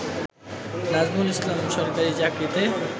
নাজমুল ইসলাম সরকারি চাকরিতে